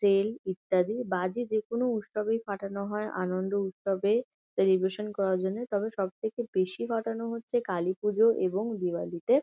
তেল ইত্যাদি বাজি যেকোনো উৎসবেই ফাটানো হয় আনন্দ উৎসবে সেলিব্রেশন করার জন্যে তবে সবথেকে বেশি ফাটানো হচ্ছে কালীপূজোয় এবং দিওয়ালি তে--